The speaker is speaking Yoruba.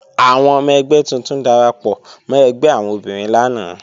Àwọn ọmọ ẹgbẹ́ tuntun darapọ̀ mọ́ ẹgbẹ́ àwọn obìnrin lánàá